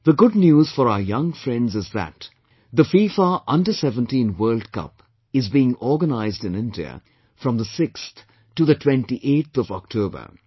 The good news for our young friends is that the FIFA Under 17 World Cup is being organized in India, from the 6th to the 28th of October